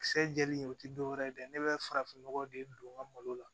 Kisɛ jɛlen o ti dɔwɛrɛ ye dɛ ne be farafin nɔgɔ de don n ka malo la